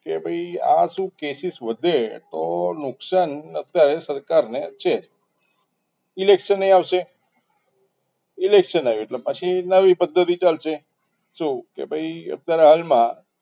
કે ભાઈ આ શું cases વધે તો નુકસાન અત્યારે સરકારને છે election એ આવશે election આવે એટલે પછી નવી પદ્ધતિ ચાલશે જો કે ભાઈ અત્યારે હાલમાં